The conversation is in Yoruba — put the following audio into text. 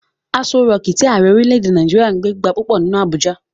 Aso rọọ̀kí tí Ààrẹ orílè-èdè Nàìjíríà ń gbé gba púpọ̀ nínú Abuja.